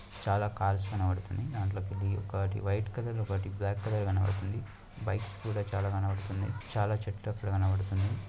చాలా కార్స్ కనపడ్తునాయి దాంట్లో ఇది ఒక వైట్ కలర్ ఒకటి బ్లాక్ కలర్ కనపడ్తుంది బైక్స్ కూడా చాలా కనపడ్తునాయి చాలా చెట్లు అక్కడ కనపడుతునాయి.